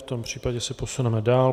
V tom případě se posuneme dál.